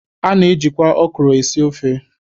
A na-ejikwa ọkwụrụ esi ofe.